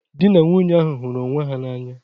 Dị na nwunye ahụ hụrụ onwe ha n'anya.